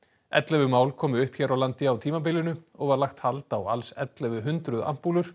ellefu mál komu upp hér á landi á tímabilinu og var lagt hald á alls ellefu hundruð